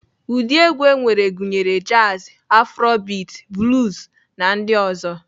Ụdị egwu enwere gụnyere jazi, aforobiti, bluz na ndị ọzọ.